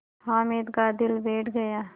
हामिद का दिल बैठ गया